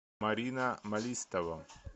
марина малистова